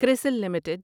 کرسل limited